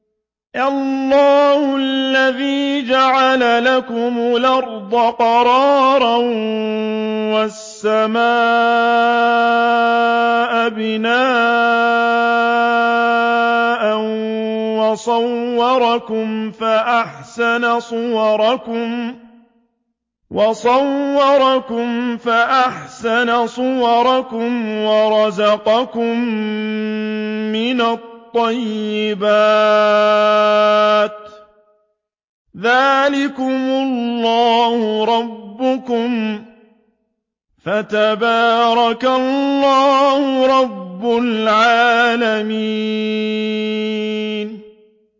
اللَّهُ الَّذِي جَعَلَ لَكُمُ الْأَرْضَ قَرَارًا وَالسَّمَاءَ بِنَاءً وَصَوَّرَكُمْ فَأَحْسَنَ صُوَرَكُمْ وَرَزَقَكُم مِّنَ الطَّيِّبَاتِ ۚ ذَٰلِكُمُ اللَّهُ رَبُّكُمْ ۖ فَتَبَارَكَ اللَّهُ رَبُّ الْعَالَمِينَ